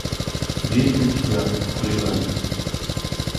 есть ли у тебя хулиган